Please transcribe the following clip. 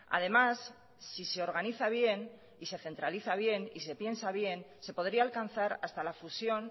además si se organiza bien y se centraliza bien y se piensa bien se podría alcanzar hasta la fusión